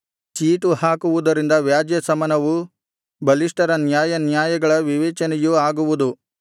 ಚೀಟು ಹಾಕುವುದರಿಂದ ವ್ಯಾಜ್ಯಶಮನವೂ ಬಲಿಷ್ಠರ ನ್ಯಾಯಾನ್ಯಾಯಗಳ ವಿವೇಚನೆಯೂ ಆಗುವುದು